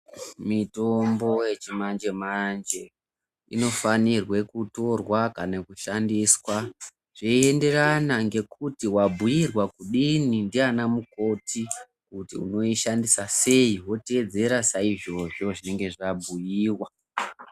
Mitombo yechimanje-manje inofanirwe kutorwa kana kushandiswa zveienderana ngekuti wabhuirwa kudini ndiana mukoti kuti unoishandisa sei, woteedzera saizvozvo zvinenge zvabhuiwa.